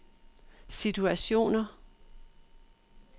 situationer